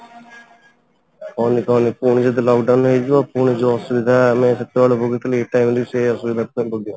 କହନି କହନି ପୁଣି ଯଦି lock down ହେଇଯିବ ପୁଣି ଯୋଉ ଅସୁବିଧା ଆମେ ସେତେ ବେଳେ ଭୋଗିଥିଲୁ ଏଇ time ରେ ବି ସେଇ ଅସୁବିଧା ଭୋଗିବା